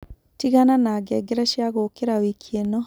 tigana na ngengere cĩa gũũkĩra wiki ino